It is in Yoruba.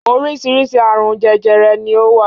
Oríṣiríṣi àrùn jẹjẹrẹ ni ó wà.